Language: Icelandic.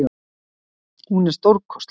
Hún er stórkostleg.